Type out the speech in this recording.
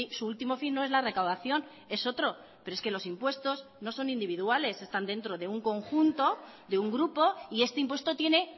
su último fin no es la recaudación es otro pero es que los impuestos no son individuales están dentro de un conjunto de un grupo y este impuesto tiene